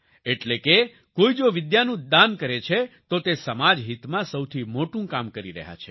એટલે કે કોઈ જો વિદ્યાનું દાન કરે છે તો તે સમાજ હિતમાં સૌથી મોટું કામ કરી રહ્યા છે